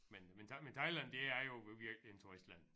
Men men thai men Thailand det er jo virkelig en turistland